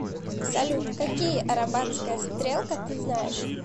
салют какие арабатская стрелка ты знаешь